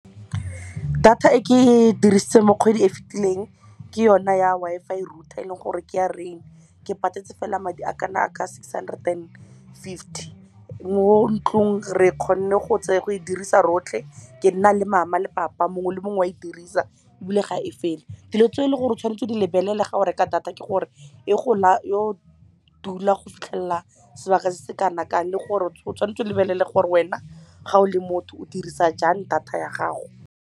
Data e ke dirise mo kgwedi e fitileng ke yona ya Wi-Fi router, eleng gore ke ya Rain. Ke patetse fela madi a kana ka six hundred and fifty mo ntlong, re e kgone go e dirisa rotlhe, ke nna le mama le papa, mongwe le mongwe wa e dirisa ebile ga e fele. Dilo tse eleng gore o tshwanetse go di lebelela ga go reka data ke gore yo dula go fitlhelela sebaka se se kana kang, le gore o tshwanetse o lebelele gore wena ga o le motho o dirisa jang data ya gago.